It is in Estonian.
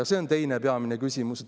Ja see on teine peamine küsimus.